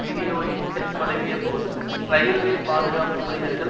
வினியோகிக்க தொடங்கிய போது இரயில்வே பாதுகாப்பு ஊழியர்கள்